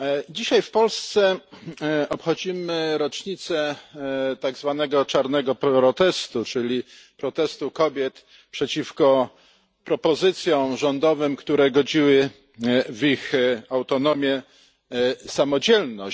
Dzisiaj w Polsce obchodzimy rocznicę tak zwanego czarnego protestu, czyli protestu kobiet przeciwko propozycjom rządowym, które godziły w ich autonomię i samodzielność.